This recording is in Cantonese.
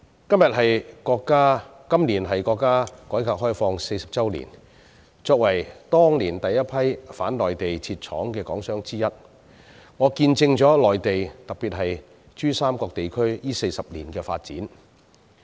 今年是國家改革開放40周年，我作為當年第一批往內地設廠的港商之一，見證了內地特別是珠三角地區這40年來的發展。